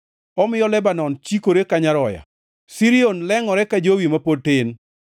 Omiyo Lebanon chikore ka nyaroya, Sirion lengʼore ka jowi ma pod tin.